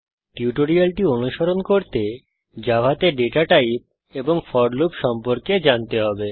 টিউটোরিয়ালটি অনুসরণ করতে জাভাতে ডেটা টাইপ এবং ফোর লুপ সম্পর্কে জানতে হবে